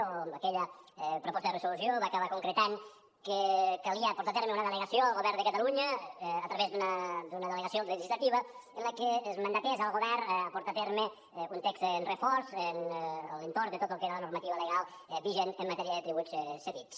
o aquella proposta de resolució va acabar concretant que calia portar a terme una delegació al govern de catalunya a través d’una delegació legislativa en la que es mandatés el govern a portar a terme un text refós a l’entorn de tot el que era la normativa legal vigent en matèria de tributs cedits